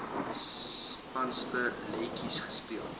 spanspe letjies gespeel